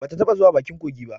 Ba ta taɓa zuwa bakin kogi ba